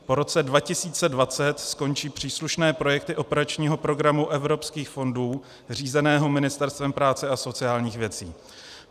Po roce 2020 skončí příslušné projekty operačního programu evropských fondů řízeného Ministerstvem práce a sociálních věcí.